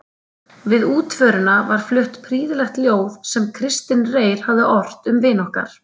Við útförina var flutt prýðilegt ljóð sem Kristinn Reyr hafði ort um vin okkar